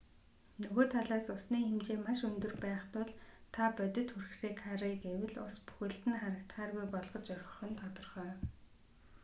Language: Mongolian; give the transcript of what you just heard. нөгөө талаас усны хэмжээ маш өндөр байх тул та бодит хүрхрээг харъя гэвэл ус бүхэлд нь харагдахааргүй болгож орхих нь тодорхой